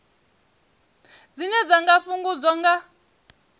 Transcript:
dzine dza nga fhungudzwa nga